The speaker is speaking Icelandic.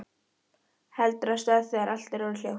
Heldur af stað þegar allt er orðið hljótt.